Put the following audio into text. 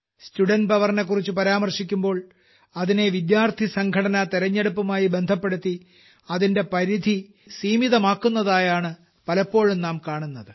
student powerനെക്കുറിച്ചു പരാമർശിക്കുമ്പോൾ അതിനെ വിദ്യാർത്ഥിസംഘടനാ തിരഞ്ഞെടുപ്പുമായി ബന്ധപ്പെടുത്തി അതിന്റെ പരിധിസീമിതമാക്കുന്നതായാണ് പലപ്പോഴും നാം കാണുന്നത്